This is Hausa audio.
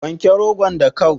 Wanke rogon da kau